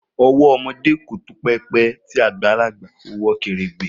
Owo omo de o to rẹpẹ, ti agbalaba owọ keregbe.